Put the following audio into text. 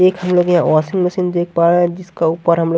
एक हम लोग यहां वाशिंग मशीन देख पा रहे हैं जिसका ऊपर हमें--